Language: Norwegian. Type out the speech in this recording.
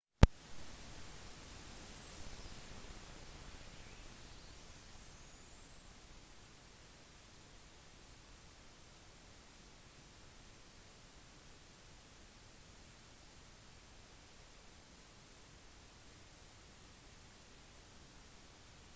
toppklatringen byr på slående utsikt fra fjelltoppene klatrere fra hele verden lager seg stadig nye ruter i de uendelige havene av fjellvegger